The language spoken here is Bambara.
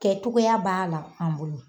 Kɛ cogoyaya b'a la an bolo